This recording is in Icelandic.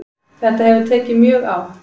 Þetta hefur tekið mjög á